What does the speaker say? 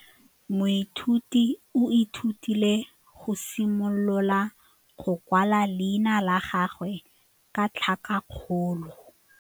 Moithuti o ithutile go simolola go kwala leina la gagwe ka tlhakakgolo.